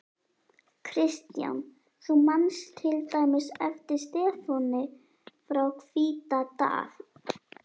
Kristján: Þú manst til dæmis eftir Stefáni frá Hvítadal?